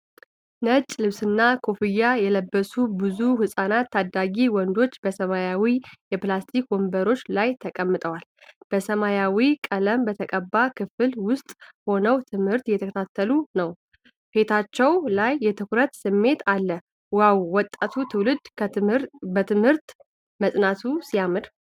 ነጭ ልብስና ኮፍያ የለበሱ ብዙ ሕፃናትና ታዳጊ ወንዶች በሰማያዊ የፕላስቲክ ወንበሮች ላይ ተቀምጠዋል። በሰማያዊ ቀለም በተቀባ ክፍል ውስጥ ሆነው ትምህርት እየተከታተሉ ነው። ፊታቸው ላይ የትኩረት ስሜት አለ። "ዋው! የወጣቱ ትውልድ በትምህርት መጽናቱ ሲያምር!"